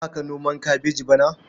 Za ka noma kabeji bana?